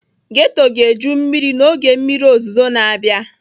Ghetto ga-eju mmiri n'oge mmiri ozuzo na-abịa.